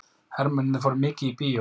Hermennirnir fóru mikið í bíó.